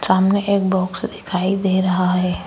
सामने एक बॉक्स दिखाई दे रहा है।